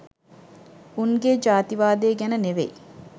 උන්ගේ ජාතිවාදය ගැන නෙවෙයි